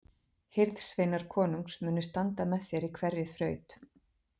Hirðsveinar konungs munu standa með þér í hverri þraut.